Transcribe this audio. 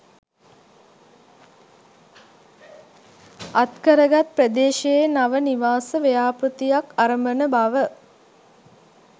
අත් කරගත් ප්‍රදේශයේ නව නිවාස ව්‍යාපෘතියක් අරඹන බව